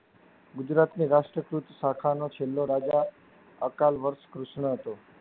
ગુજરાતની રાષ્ટ્રીય કૃત શાખા નો છેલ્લો રાજા અકાલવર્ષ કૃષ્ણ હતો.